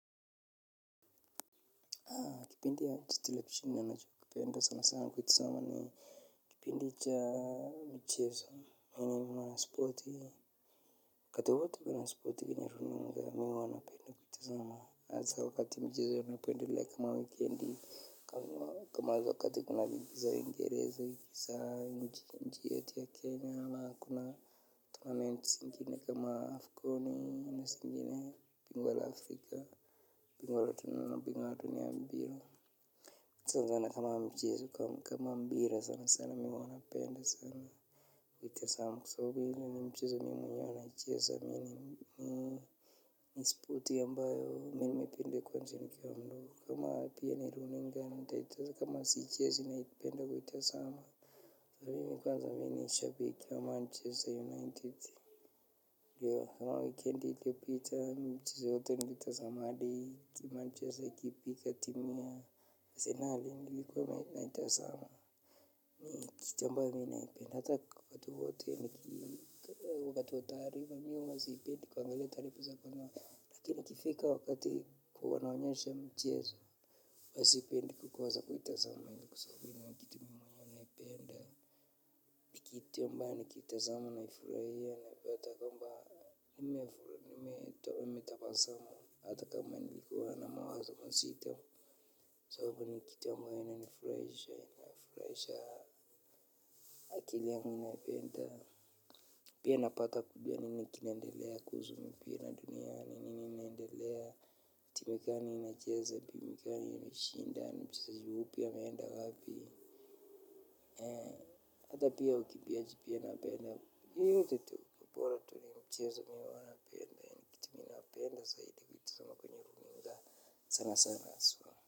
Kipindi cha televisheni ninacho kipenda sana sana kuitazama ni kipindi cha michezo mwana spoti, wakati wowote kuna spoti kwenye rununu mimi huwa napenda kutazama hasa wakati mchezo unapoendelea kama wikendi. Kama wakati kuna ligi za uingereza, ligi za nchi yetu ya Kenya ama kuna Tonamenti zingine kama afkoni ama zingine bingwa la afrika. Kwa mpira sana sana, mimi huwa napenda sana. Kuitazama kwa sababu ile ni mchezo mimi mwenyewe naicheza. Ni spoti ambayo, mimi nimeipenda kwanzia nikiwa mdogo. Kama siichezi napenda kuitazama. Mimi kwanza ni shabiki wa manchester united. Kama wikendi iliyopita michezo yote mimi nilitazama. Manchester ikipiga timu ya Asenali nilikuwa naitazama kitu ambayo mimi naipenda hata wakati wa taarifa mimi huwa sipendi kuangalia taarifa, lakini ikifika wakati wa kuonyesha michezo huwa sipendi kukosa kutazama. Kwa sababu ni kitu muhimu mimi naipenda ni kitu ambayo nikiitazama nafurahia napata kwamba nimetabasamu hata kama nilikuwa na mawazo mazito kwa sababu ni kitu ambayo inanifurahisha. Akili yangu inaipenda. Pia napata kujua nini kinaendelea kuhusu mipira duniani ni nini inaendelea, timu gani inacheza, timu gani imeshinda, mchezaji yupi ameenda wapi, hata pia ukimbiaji napenda, yoyote tu bora tu ni mchezo mimi huwa napenda, ni kitu mimi napenda zaidi kuitazama kwenye runinga sana sana haswa.